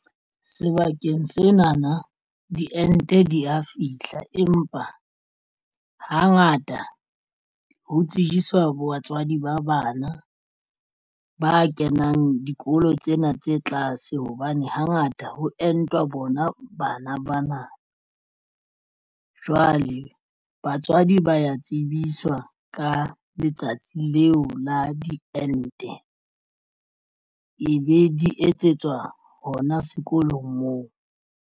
Sebakeng sena na diente di ya fihla empa hangata ho tsejiswa batswadi ba bana ba kenang dikolo tsena tse tlase hobane hangata ho entwa bona bana bana. Jwale batswadi ba ya tsebiswa ka letsatsi leo la diente ebe di etsetswa hona sekolong moo.